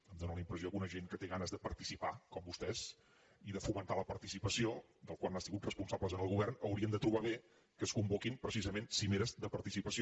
em fa la impressió que una gent que té ganes de participar com vostès i de fomentar la participació de la qual han sigut responsables en el govern haurien de trobar bé que es convoquin precisament cimeres de participació